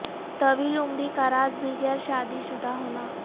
طویل عمری کا راز بھی غیر شادی شدہ ہونا